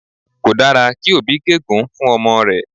Kò dára kí òbí gégùn-ún fún ọmọ rẹ̀